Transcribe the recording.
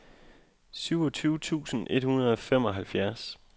syvogtyve tusind et hundrede og femoghalvfjerds